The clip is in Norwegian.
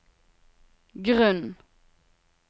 grunn